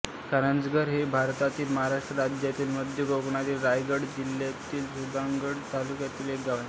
कारंजघर हे भारतातील महाराष्ट्र राज्यातील मध्य कोकणातील रायगड जिल्ह्यातील सुधागड तालुक्यातील एक गाव आहे